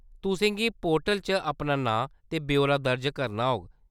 तुसें गी पोर्टल च अपना नांऽ ते ब्यौरा दर्ज करना होग।